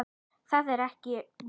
Það er ekki í boði.